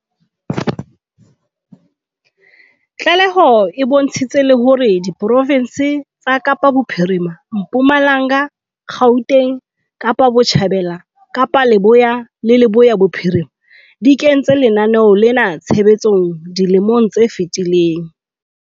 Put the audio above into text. Tlaleho e bontshitse le hore diprofense tsa Kapa Bophirima, Mpumalanga, Gauteng, Kapa Botjhabela, Kapa Leboya le Leboya Bophirima di kentse lenaneo lena tshebetsong dilemong tse fetileng.